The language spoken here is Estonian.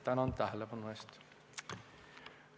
Tänan tähelepanu eest!